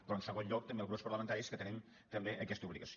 però en segon lloc també als grups parlamentaris que tenim també aquesta obligació